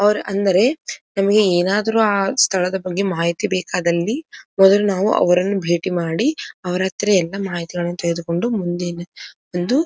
ಅವ್ರು ಅಂದರೆ ನಮ್ಮಗೆ ಏನಾದರು ಆ ಸ್ಥಳದ ಬಗ್ಗೆ ಮಾಹಿತಿ ಬೇಕಾದಲ್ಲಿ ಮೊದಲು ನಾವು ಅವರನ್ನು ಬೇಟಿ ಮಾಡಿ ಅವ್ರ ಹತ್ರ ಎಲ್ಲಾ ಮಾಹಿತಿಗಳನ್ನು ತೆಗೆದುಕೊಂಡು ಮುಂದಿನ ಒಂದು --